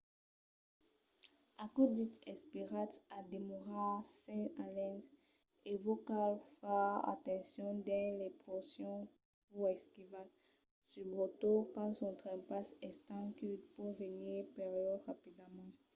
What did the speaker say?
aquò dich esperatz a demorar sens alen e vos cal far atencion dins las porcions pus esquivas subretot quand son trempas estent que pòt venir perilhós rapidament